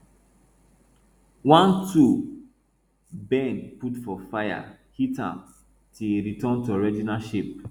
one tool bend put for fire hit am till e return to original shape